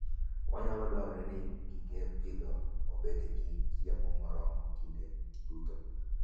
Nyalo dwarore ni gige pidhogi obed gi chiemo moromogi kinde duto.